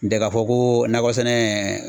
N tɛ ka fɔ ko nakɔ sɛnɛ.